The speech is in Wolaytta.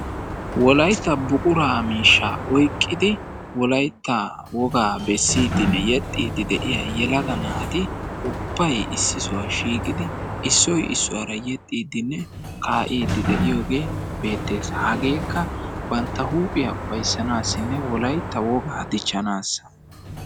wolaytta buquraa miishshaa oyqqidi wolaytta wogaa beessiidinne yeexxiidi de'iyaa yelaga naati ubbay issi sohuwaa shiiqidi issoy issuwaara yeexxidinne kaa"idi de'iyoogee beettees. hageekka bantta huuphiyaa ufaysanasinne wolaytta wogaa diichchanaasa.